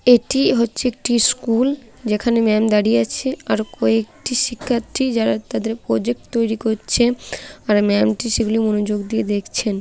''এটি হচ্ছে একটি স্কুল যেখানে ম্যাম দাড়িয়ে আছে আর কয়েকটি শিক্ষার্থী যারা তাদের প্রোজেক্ট তৈরি করছে আর ম্যামটি সেগুলি মনোযোগ দিয়ে দেখছেন।''